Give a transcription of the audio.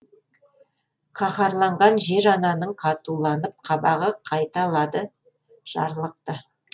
қаһарланған жер ананың қатуланып қабағы қайталады жарлықты